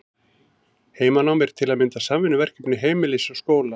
Heimanám er til að mynda samvinnuverkefni heimilis og skóla.